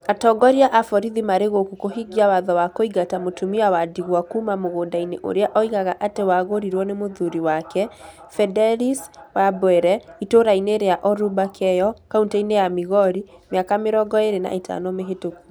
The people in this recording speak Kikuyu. Atongoria a borithi marĩ gũkũ kũhingia watho wa kũingata mũtumia wa ndigwa kuuma mũgũnda-inĩ ũrĩa oigaga atĩ wagũrirũo nĩ mũthuri wake, Fedelis Wabwire, itũũra-inĩ rĩa Oruba Keyo, kaunti-inĩ ya Migori, mĩaka mĩrongo ĩrĩ na ĩtano mĩhĩtũku.